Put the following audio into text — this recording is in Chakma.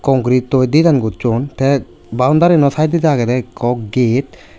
concretio design goson teh boundry ano saidodi aagey ekko ged.